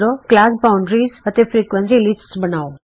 class boundary ਅਤੇ frequency lists ਬਣਾਉ